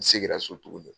N seginna so tuguni